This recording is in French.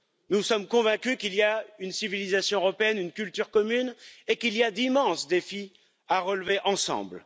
Nous sommes convaincus qu'il y a une civilisation européenne, une culture commune, et qu'il y a d'immenses défis à relever ensemble.